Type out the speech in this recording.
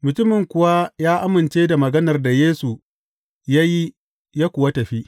Mutumin kuwa ya amince da maganar da Yesu ya yi ya kuwa tafi.